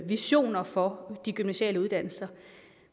visioner for de gymnasiale uddannelser